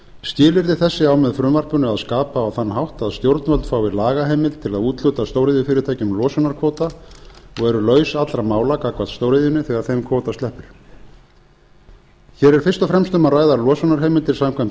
skilyrði þessi á með frumvarpinu að skapa á þann hátt að stjórnvöld fá lagaheimild til að úthluta stóriðjufyrirtækjum losunarkvóta og eru laus allra mála gagnvart stóriðjunni þegar þeim kvóta sleppir hér er fyrst og fremst um að ræða losunarheimildir samkvæmt